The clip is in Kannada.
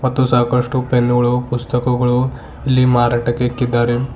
ಮತ್ತು ಸಾಕಷ್ಟು ಪೆನ್ನು ಗಳು ಪುಸ್ತಕಗಳು ಇಲ್ಲಿ ಮಾರಾಟಕ್ಕೆ ಇಕ್ಕಿದ್ದಾರೆ.